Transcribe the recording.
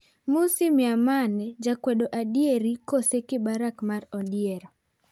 Mmusi Maimane:Jakwedo adieri kose 'kibaraka mar odiero'?